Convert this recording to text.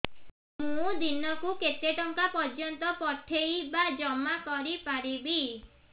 ମୁ ଦିନକୁ କେତେ ଟଙ୍କା ପର୍ଯ୍ୟନ୍ତ ପଠେଇ ବା ଜମା କରି ପାରିବି